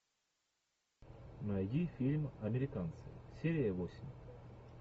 найди фильм американцы серия восемь